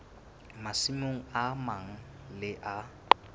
masimo a mang le a